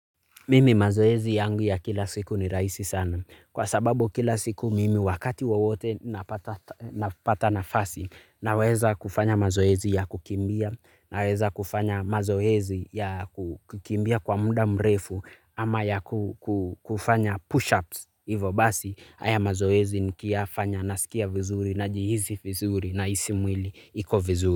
Mimi mazoezi yangu ya kila siku ni rahisi sana kwa sababu kila siku mimi wakati wowote napata napata nafasi, Naweza kufanya mazoezi ya kukimbia naweza kufanya mazoezi ya kukimbia kwa muda mrefu ama ya kufanya push ups hivyo basi haya mazoezi nikiyafanya nasikia vizuri najihisi vizuri nahisi mwili iko vizuri.